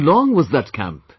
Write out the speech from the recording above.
How long was that camp